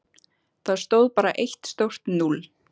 Þar stóð bara eitt stórt núll.